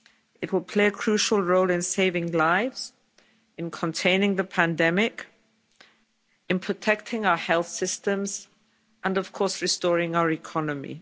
It will play a crucial role in saving lives, in containing the pandemic, in protecting our health systems and, of course, in restoring our economy.